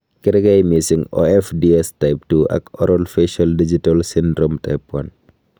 Kerkei missing' OFDS type 2 ak oral facial digital syndrome type 1.